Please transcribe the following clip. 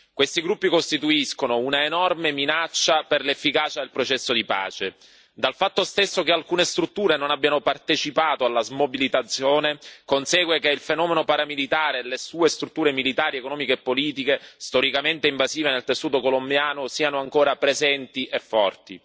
Questi gruppi costituiscono un'enorme minaccia per l'efficacia del processo di pace dal fatto stesso che alcune strutture non abbiano partecipato alla smobilitazione consegue che il fenomeno paramilitare e le sue strutture militari, economiche e politiche, storicamente invasive nel tessuto colombiano, siano ancora presenti e forti.